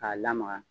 K'a lamaga